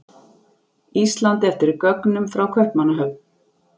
Íslandi eftir gögnum frá Kaupmannahöfn.